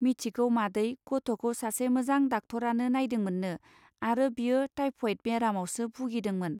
मिथिगौ मादै गथ'खौ सासे मोजां डाक्टरानो नायदोंमोननो आरो बियो टाइफयेत बेरामावसो भुगिदोंमोन.